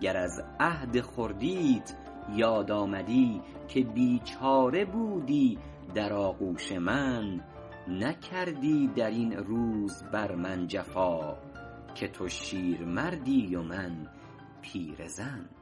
گر از عهد خردیت یاد آمدی که بیچاره بودی در آغوش من نکردی در این روز بر من جفا که تو شیرمردی و من پیرزن